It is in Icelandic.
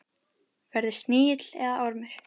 Verði snigill eða ormur.